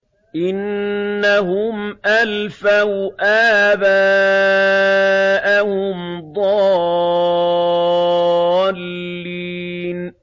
إِنَّهُمْ أَلْفَوْا آبَاءَهُمْ ضَالِّينَ